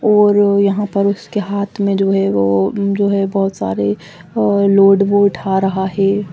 और ये यहाँ पर उसके हाथ में जो है वो जो है वो बहोत सारे लोड वो उठा रहा है।